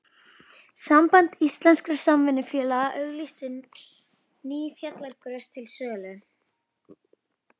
Samband íslenskra samvinnufélaga auglýsti ný fjallagrös til sölu.